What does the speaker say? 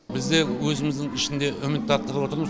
бізде өзіміздің ішінде үміт арттырып отырмыз